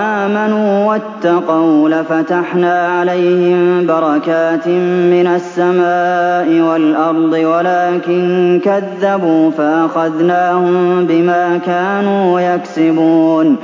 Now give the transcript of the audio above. آمَنُوا وَاتَّقَوْا لَفَتَحْنَا عَلَيْهِم بَرَكَاتٍ مِّنَ السَّمَاءِ وَالْأَرْضِ وَلَٰكِن كَذَّبُوا فَأَخَذْنَاهُم بِمَا كَانُوا يَكْسِبُونَ